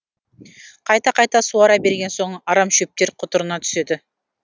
қайта қайта суара берген соң арамшөптер құтырына түседі